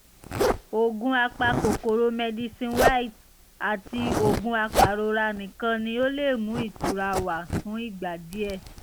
oògùn apakòkòrò medicine wise àti oògùn apàrora nìkan ni ó lè mú ìtura wá fún ìgbà díẹ̀